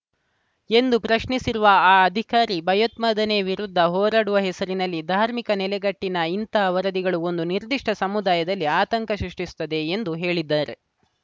ಎಂದು ಪ್ರಶ್ನಿಸಿರುವ ಆ ಅಧಿಕಾರಿ ಭಯೋತ್ಪಾದನೆ ವಿರುದ್ಧ ಹೋರಾಡುವ ಹೆಸರಿನಲ್ಲಿ ಧಾರ್ಮಿಕ ನೆಲೆಗಟ್ಟಿನ ಇಂತಹ ವರದಿಗಳು ಒಂದು ನಿರ್ದಿಷ್ಟಸಮುದಾಯದಲ್ಲಿ ಆತಂಕ ಸೃಷ್ಟಿಸುತ್ತವೆ ಎಂದು ಹೇಳಿದ್ದಾರೆ